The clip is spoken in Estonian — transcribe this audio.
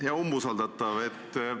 Hea umbusaldatav!